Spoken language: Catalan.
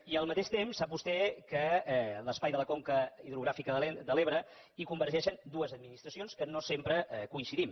i al mateix temps sap vostè que a l’espai de la conca hidrogràfica de l’ebre hi convergeixen dues administracions que no sempre coincidim